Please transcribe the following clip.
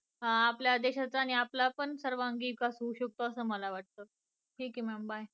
आपल्या देशाचा आणि आपला पण सर्वांगीण विकास होऊ शकतो असं मला वाटत. ठीक आहे ma'am bye.